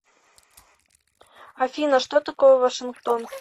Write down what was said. афина что такое вашингтон